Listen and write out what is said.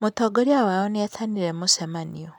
Mũtongoria wao nĩ etanire mũcemanio.